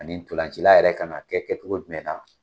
Ani tɔlancila yɛrɛ kan ka kɛ kɛcogo jumɛn na.